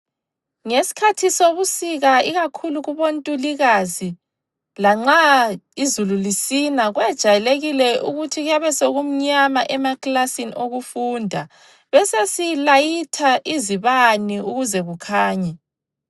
Ngesikhathi sobusika ikakhulu kubontulikazi lanxa izulu lisina kwejayelekile ukuthi kuyabe sekumnyama emaklasini okufunda besesilayitha izibane ukuze kukhanye.